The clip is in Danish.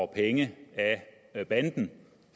penge af banden